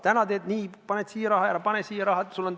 Täna teed nii, paned raha siia, ei pane raha siia.